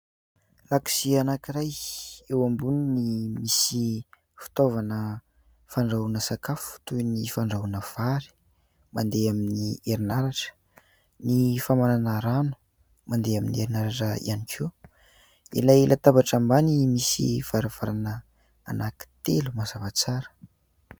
Lakozia anankiray. Eo amboniny misy fitaovana fandrahoana sakafo toy ny fandrahoana vary mandeha amin'ny herin'aratra. Ny famarana rano mandeha amin'ny herin'aratra ihany koa. Ilay latabatra ambany misy varavarana anankitelo mazava tsara.